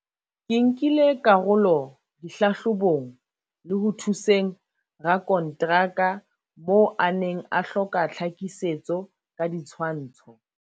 "Ke nkile karolo dihlahlo bong le ho thuseng rakontra ka moo a neng a hloka tlha kisetso ka ditshwantsho."